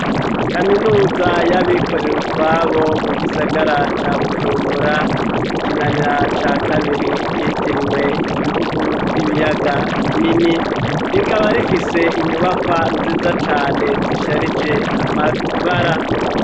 Kaminuza y'abikorera utwabo, mu gisagara ca Bujumbura, mu Kinanira ca kabiri, ryitiriwe ibihugu vy'ibiyaga binini, rikaba rifise inyubakwa nziza cane zisharije amabara.